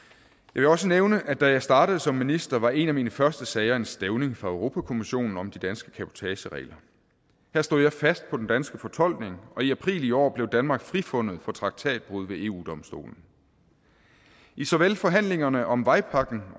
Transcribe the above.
vil også nævne at da jeg startede som minister var en af mine første sager en stævning fra europa kommissionen om de danske cabotageregler her stod jeg fast på den danske fortolkning og i april i år blev danmark frifundet for traktatbrud ved eu domstolen i såvel forhandlingerne om vejpakken